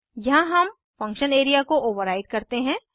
यहाँ हम function area को ओवर्राइड करते हैं